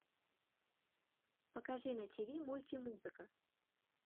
покажи на тиви мультимузыка